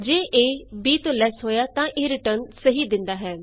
ਜੇ A b ਤੋਂ less ਹੋਇਆ ਤਾਂ ਇਹ ਰਿਟਰਨ ਸਹੀ ਦਿੰਦਾ ਹੈ